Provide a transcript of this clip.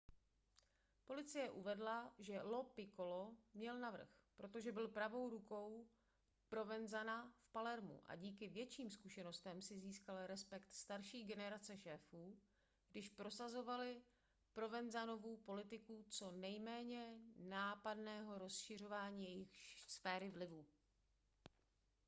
policie uvedla že lo piccolo měl navrch protože byl pravou rukou provenzana v palermu a díky větším zkušenostem si získal respekt starší generace šéfů když prosazovali provenzanovu politiku co nejméně nápadného rozšiřování jejich sféry vlivu